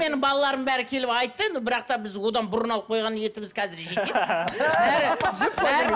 менің балаларым бәрі келіп айтты енді бірақ та біз одан бұрын алып қойған етіміз қазір жетеді